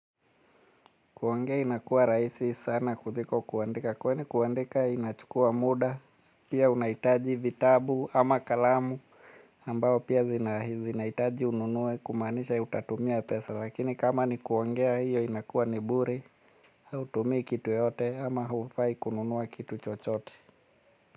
Kuongea inakua rahisi sana kuliko kuandika. Kwani kuandika inachukua muda. Pia unahitaji vitabu ama kalamu. Ambao pia zinahitaji ununue kumaanisha utatumia pesa. Lakini kama ni kuongea hiyo inakua ni bure. Hautumii kitu yoyote ama hufai kununua kitu chochote.